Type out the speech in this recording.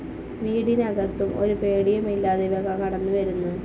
വീടിനകത്തും ഒരു പേടിയുമില്ലാതെ ഇവ കടന്നുവരുന്നു.